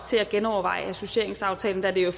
til at genoverveje associeringsaftalen da det jo